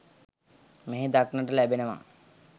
මෙහි දක්නට ලැබෙනවා.